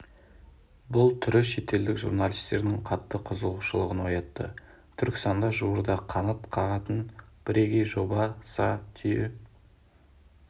бұл түрі шетелдік журналистердің қатты қызығушылығын оятты түркістанда жуырда қанат қағатын бірегей жоба са түйе